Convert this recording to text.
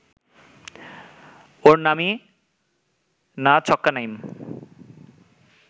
ওর নামই না ছক্কা-নাইম